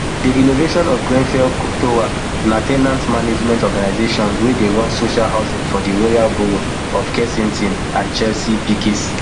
di renovation of grenfell tower na ten ant management organisation wey dey run social housing for the royal borough of kensington and chelsea rbkc